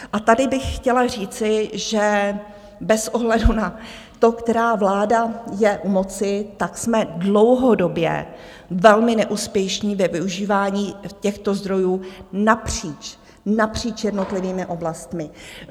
A tady bych chtěla říci, že bez ohledu na to, která vláda je u moci, tak jsme dlouhodobě velmi neúspěšní ve využívání těchto zdrojů napříč jednotlivými oblastmi.